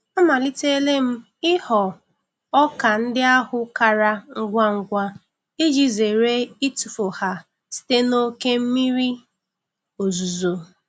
Amalitele m ighọ ọka ndị ahụ kara ngwa ngwa iji zere itufu ha site n'oke mmiri ozuzo.